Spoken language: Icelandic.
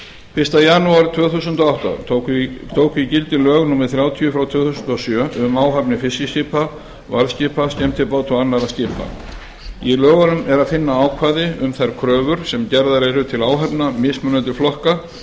fyrsta janúar tvö þúsund og átta tóku í gildi lög númer þrjátíu tvö þúsund og sjö um áhafnir fiskiskipa varðskipa skemmtibáta og annarra skipa í lögunum er að finna ákvæði um þær kröfur sem gerðar eru til áhafna mismunandi flokka